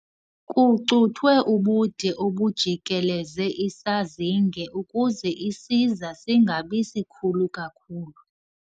Kucuthwe ubude obujikeleze isazinge ukuze isiza singabi sikhulu kakhulu.